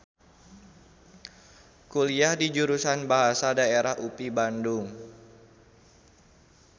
Kuliah di Jurusan Bahasa Daerah UPI Bandung.